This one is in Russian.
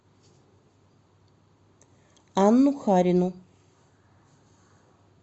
анну харину